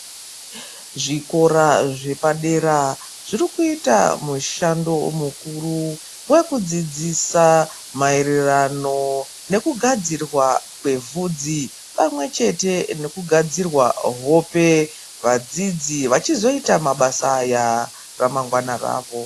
Zvikora zvepadera zvirikuita mushando mukuru wekudzidzisa maererano nekugadzirwa kwevudzi pamwechete nekugadzirwa hope vadzidzi ava vachizoita mabasa aya ramangwana ravo.